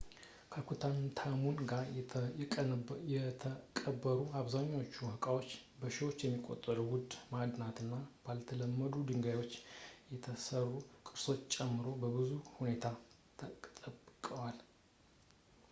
ከቱታንካሙን ጋር የተቀበሩ አብዛኛዎቹ ዕቃዎች በሺዎች የሚቆጠሩ ውድ ማዕድናት እና ባልተለመዱ ድንጋዮች የተሰሩ ቅርሶችን ጨምሮ በጥሩ ሁኔታ ተጠብቀዋል